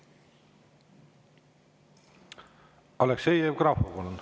Aleksei Jevgrafov, palun!